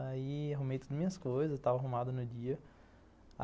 Aí arrumei todas as minhas coisas, estava arrumado no dia.